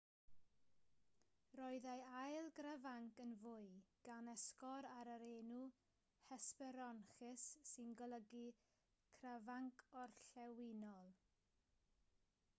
roedd ei ail grafanc yn fwy gan esgor ar yr enw hesperonychus sy'n golygu crafanc orllewinol